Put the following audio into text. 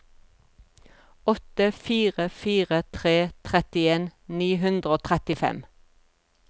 åtte fire fire tre trettien ni hundre og trettifem